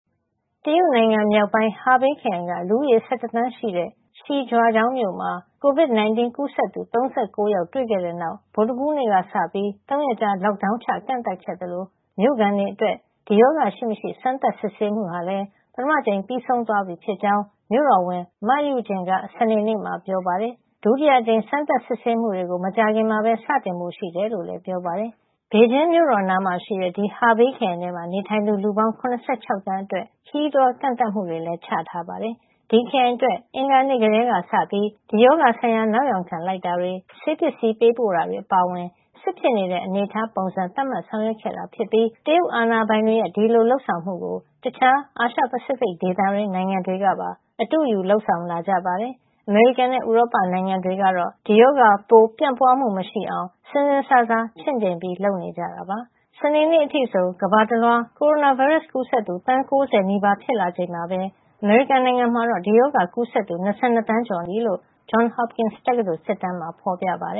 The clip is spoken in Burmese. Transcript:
တရုတ်နိုင်ငံမြောက်ပိုင်း ဟာဘေးခရိုင်က လူဦးရေ ၁၁ သန်းရှိတဲ့ Shijiachaung မြို့မှာ COVID-19 ကူးစက်သူ ၃၉ ယောက် တွေ့ရှိခဲ့တဲ့နောက် ဗုဒ္ဓဟူးနေ့ကစပြီး ၃ ရက်ကြာ lockdown ချ ကန့်သတ်ခဲ့သလို မြို့ခံတွေအတွက် ဒီရောဂါရှိမရှိ စမ်းသပ်စစ်ဆေးမှုဟာလည်း ပထမအကြိမ် ပြီးဆုံးသွားပြီဖြစ်ကြောင်း မြို့တော်ဝန် Ma Yujun က စနေနေ့မှာ ပြောပါတယ်။ ဒုတိယအကြိမ် စမ်းသပ်စစ်ဆေးမှုတွေကို မကြာခင်မှာ စတင်ဖို့ ရှိတယ်လို့လည်း ပြောပါတယ်။ ဘေဂျင်းမြို့တော်နားမှာရှိတဲ့ ဒီ ဟာဘေးခရိုင်မှာ နေထိုင်သူ လူပေါင်း ၇၆ သန်းအတွက် ခရီးသွားကန့်သတ်မှုတွေ လုပ်ထားတာပါ။ ဒီခရိုင်အတွက် အင်္ဂါနေ့ကတည်းကစပြီး ဒီရောဂါဆိုင်ရာ နောက်ယောင်ခံလိုက်တာတွေ ဆေးပစ္စည်းပေးပို့တာတွေ အပါအဝင် စစ်ဖြစ်နေတဲ့ အနေထားပုံစံ သတ်မှတ်ဆောင်ရွက်ခဲ့တာဖြစ်ပြီး တရုတ်အာဏာပိုင်တွေရဲ့ ဒီလိုလုပ်ဆောင်မှုကို တခြား အာရှ-ပစိဖိတ် ဒေသတွင်း နိုင်ငံတွေကပါ အတုယူ လုပ်ဆောင်လာကြပါတယ်။ အမေရိကန်နဲ့ ဥရောပနိုင်ငံတွေကတော့ ဒီရောဂါပိုး ပြန့်ပွါးမှုမရှိအောင် စဉ်းစဉ်းစားစား ချင့်ချိန်ပြီး လုပ်နေကြတာပါ။ စနေနေ့အထိဆို ကမ္ဘာတလွှား ကိုရိုနာဗိုင်းရပ်စ် ကူးစက်သူ သန်း ၉၀ နီးပါး ဖြစ်လာချိန်မှာပဲ အမေရိကန်နိုင်ငံမှာ ဒီရောဂါကူးစက်သူ ၂၂ သန်းကျော်နဲ့ သေဆုံးရသူက ၃၇၀,၀၀၀ ကျော်နေပြီလို့ Johns Hopkins တက္ကသိုလ် စစ်တမ်းမှာ ဖော်ပြထားပါတ